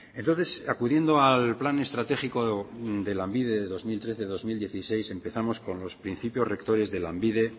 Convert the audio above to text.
entonces acudiendo al plan estratégico de lanbide de dos mil trece dos mil dieciséis empezamos con los principios rectores de lanbide